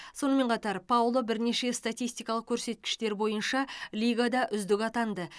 сонымен қатар пауло бірнеше статистикалық көрсеткіштер бойынша лигада үздік атанды